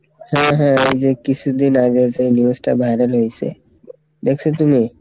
হ্যাঁ হ্যাঁ ওইযে কিছুদিন আগে যে news টা viral হয়েসে, দেখসো তুমি?